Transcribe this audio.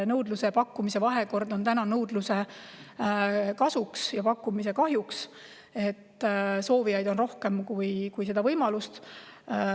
Nõudluse ja pakkumise vahekord on nõudluse kasuks ja pakkumise kahjuks: soovijaid on rohkem kui võimalusi.